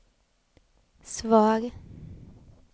svar